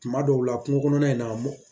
Tuma dɔw la kungo kɔnɔna in na mɔ